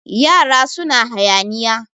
yara suna hayaniya